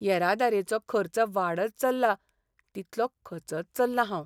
येरादारेचो खर्च वाडत चल्ला तितलो खचत चल्लां हांव.